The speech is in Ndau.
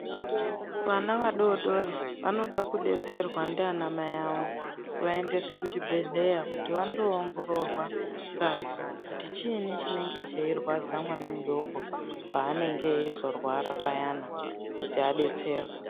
Vana vadodori vanoda kudetserwa ndiana mai avo kuvaendesa kuchibhedhlera kuti vandoongororwa ngazi kuti chiinyi chinenge cheirwadza mwana mudoko paanenge eizorwara payani kuti adetserwe.